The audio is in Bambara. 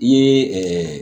I ye